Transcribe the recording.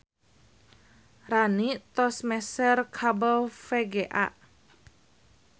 Rani tos meser kabel VGA